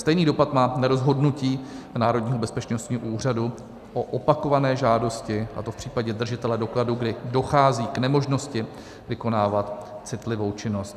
Stejný dopad má rozhodnutí Národního bezpečnostního úřadu o opakované žádosti, a to v případě držitele dokladu, kdy dochází k nemožnosti vykonávat citlivou činnost.